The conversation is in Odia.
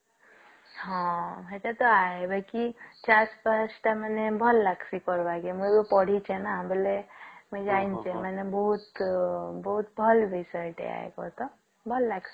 ହଁ ସେଟା ତ ଏବେ କି ଚାରି ପାଞ୍ଚଟା ମାନେ ଭଲ ଲାଗସି କରିବାକି ମୁଁ ପଢିସି ନା ବୋଲେ ମୁଇଁ ଜାଣିଛି ନା ମାନେ ବୋହୁତ ବୋହୁତ ଭଲ decide ଭଲ ଲାଗସି